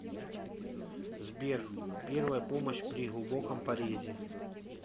сбер первая помощь при глубоком порезе